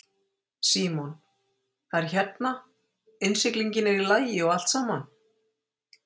Símon: Það er hérna, innsiglingin er í lagi og allt saman?